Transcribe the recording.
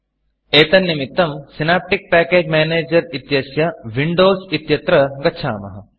एतन्निमित्तं synaptic package Managerसिनाप्टिक् package manager इत्यस्य Windowsविण्डोस् इत्यत्र गच्छामः